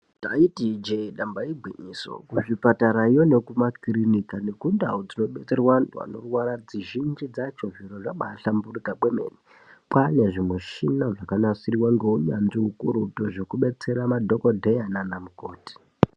Ndaiti ijee damba igwinyiso kuzvipatarayo nekumakirinika nekundau dzinodetserwa antu anorwara dzizhinji dzacho zviro zvabahlamburuka kwemene kwane zvimuchina zvakanasirwa ngeunyanzvi ukurutu zvekudetsera madhokodheya nanamukoti.